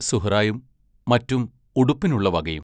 സുഹ്റായും മറ്റും ഉടുപ്പിനുള്ള വകയും.